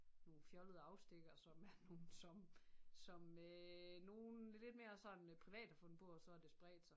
Nogle fjollede afstikkere som er nogle som som øh nogle lidt mere sådan privat har fundet på og så har det spredt sig